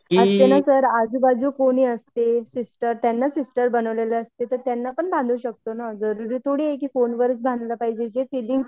असं नाही सर आजूबाजू कोणी असते सिस्टर त्यांना सिस्टर बनवले असते तर त्यांना पण बंधू शकतो ना जरुरी थोडी आहे की फोनवरच बांधलं पाहिजे जे फिलिंग्ज